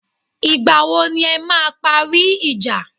Ìgbà wo ni e máa parí ìjà?